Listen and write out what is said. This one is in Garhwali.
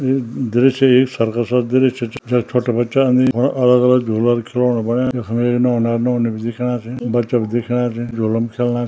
यी दृश्य एक सर्कस क दृश्य च जख छोटा बच्चा अन्दीन और अलग-अलग झूला खिलौणा बनाया यखम एक नौना अर नौनी भी दिखेणा छी बच्चा भी दिखेणा छी झुलका म खिल्णा --